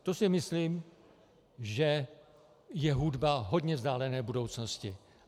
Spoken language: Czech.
To si myslím, že je hudba hodně vzdálené budoucnosti.